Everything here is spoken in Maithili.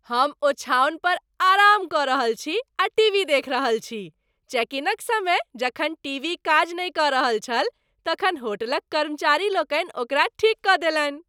हम ओछाओन पर आराम कऽ रहल छी आ टीवी देखि रहल छी। चेक इनक समय जखन टीवी काज नहि कऽ रहल छल तखन होटलक कर्मचारी लोकनि ओकरा ठीक कऽ देलनि।